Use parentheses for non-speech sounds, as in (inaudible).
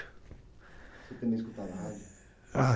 Você também escutava rádio? (unintelligible)